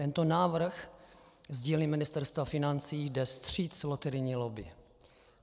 Tento návrh z dílny Ministerstva financí jde vstříc loterijní lobby.